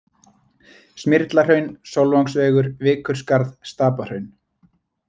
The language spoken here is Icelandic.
Smyrlahraun, Sólvangsvegur, Vikurskarð, Stapahraun